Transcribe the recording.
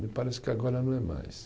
Me parece que agora não é mais.